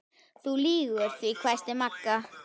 Þú lýgur því hvæsti Magga og strauk skrámu á enninu.